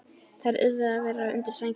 Þær yrðu að vera undir sænginni.